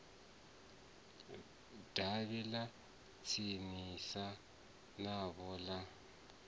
davhi ḽa tsinisa navho ḽa